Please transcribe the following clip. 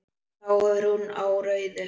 Þá fer hún á rauðu.